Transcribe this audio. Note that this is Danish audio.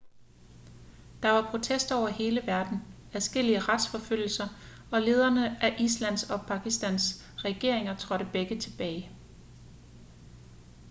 der var protester over hele verden adskillige retsforfølgelser og lederne af islands og pakistans regeringer trådte begge tilbage